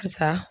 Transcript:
Barisa